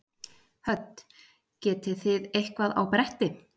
Hödd: Getið þið eitthvað á bretti?